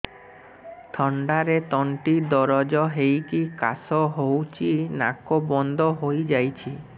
ଥଣ୍ଡାରେ ତଣ୍ଟି ଦରଜ ହେଇକି କାଶ ହଉଚି ନାକ ବନ୍ଦ ହୋଇଯାଉଛି